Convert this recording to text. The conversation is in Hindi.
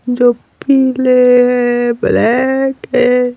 जो पिले ब्लैक है।